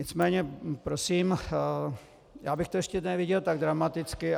Nicméně prosím, já bych to ještě neviděl tak dramaticky.